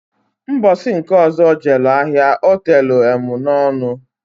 Mbosi nke ọzọ o jelu ahia otelu emunọnụ.